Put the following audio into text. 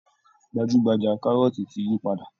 Gbajú-gbajà kárọ́ọ̀tì ti yí padà